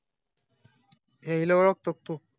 हिला ओडखतो तू